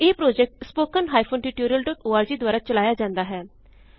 ਇਹ project httpspoken tutorialorg ਦੁਆਰਾ ਚਲਾਇਆ ਜਾੰਦਾ ਹੈ